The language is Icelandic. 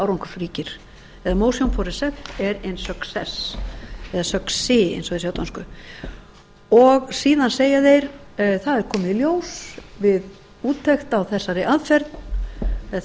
árangursríkir eða motion på recept er en succé síðan segja þeir það er komið í ljós við úttekt á þessari aðferð eða